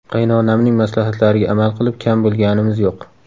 Qaynonamning maslahatlariga amal qilib, kam bo‘lganimiz yo‘q.